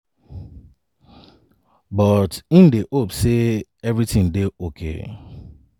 but im dey hope say evritin go dey okay.